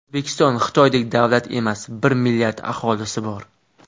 O‘zbekiston Xitoydek davlat emas bir milliard aholisi bor.